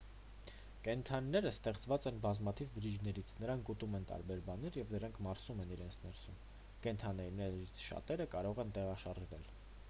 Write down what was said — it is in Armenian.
կենդանիները ստեղված են բազմաթիվ բջիջներից նրանք ուտում են տարբեր բաներ և դրանք մարսում իրենց ներսում կենդանիներից շատերը կարող են տեղաշարժվել